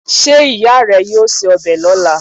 se ìyá re yio se obe lola?